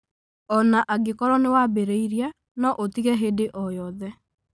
O na angĩkorũo nĩ wambĩrĩirie, no ũtige hĩndĩ o yothe.